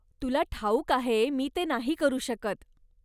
तुला ठाऊक आहे मी ते नाही करू शकत.